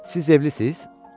Siz evlisiz?